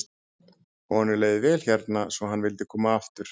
Honum leið vel hérna svo hann vildi koma aftur.